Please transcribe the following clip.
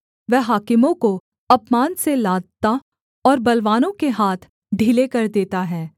वह हाकिमों को अपमान से लादता और बलवानों के हाथ ढीले कर देता है